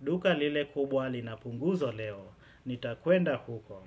Duka lile kubwa linapunguzo leo. Nitakwenda huko.